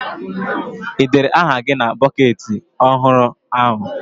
Ị dere aha gị na bọketị ọhụrụ ahụ?